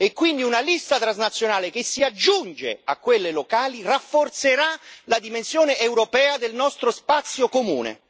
Quindi, una lista transnazionale che si aggiunge a quelle locali rafforzerà la dimensione europea del nostro spazio comune.